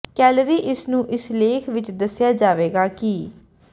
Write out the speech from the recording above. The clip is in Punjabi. ਕੈਲੋਰੀ ਇਸ ਨੂੰ ਇਸ ਲੇਖ ਵਿਚ ਦੱਸਿਆ ਜਾਵੇਗਾ ਕਿ